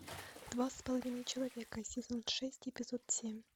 два с половиной человека сезон шесть эпизод семь